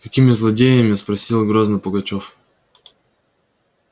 какими злодеями спросила грозно пугачёв